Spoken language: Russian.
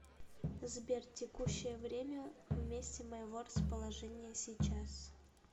сбер текущее время в месте моего расположения сейчас